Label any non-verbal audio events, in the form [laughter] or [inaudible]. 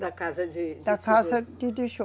Da casa de. [unintelligible] Da casa de tijolo